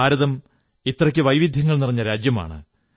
ഭാരതം ഇത്രയ്ക്ക് വൈവിധ്യങ്ങൾ നിറഞ്ഞ രാജ്യമാണ്